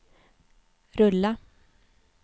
rulla